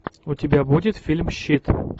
у тебя будет фильм щит